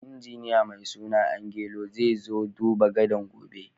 Injiniya mai suna Angelo zai zo duban gadan' gobe.